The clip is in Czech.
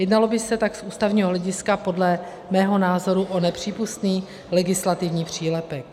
Jednalo by se tak z ústavního hlediska podle mého názoru o nepřípustný legislativní přílepek.